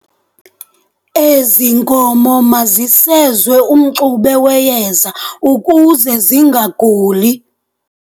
Ezi nkomo mazisezwe umxube weyeza ukuze zingaguli.